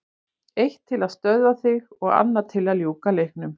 Eitt til að stöðva þig og annað til að ljúka leiknum.